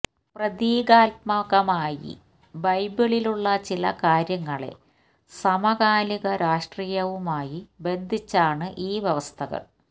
പ്രതീകാത്മകമായി ബൈബിളിലുള്ള ചില കാര്യങ്ങളെ സമകാലിക രാഷ്ട്രീയവുമായി ബന്ധിച്ചാണ് ഈ വ്യവസ്ഥകള്